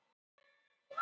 Hans er nú leitað